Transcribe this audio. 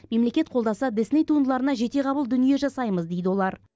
мемлекет қолдаса дисней туындыларына жетеғабыл дүние жасаймыз дейді олар